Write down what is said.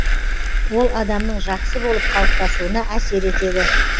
ол адамның жақсы болып қалыптасуына әсер етеді